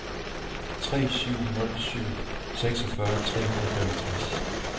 tre syv nul syv seksogfyrre tre hundrede og femogtres